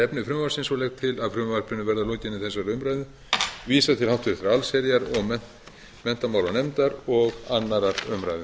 efni frumvarpsins og legg til að frumvarpinu verði að lokinni þessari umræðu vísað til háttvirtrar allsherjar og menntamálanefndar og annarrar umræðu